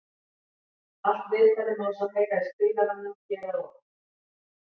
Allt viðtalið má svo heyra í spilaranum hér að ofan.